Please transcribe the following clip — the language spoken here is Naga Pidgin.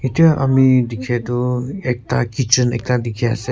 Etya ami dekya tuh ekta kitchen ekta dekhey ase.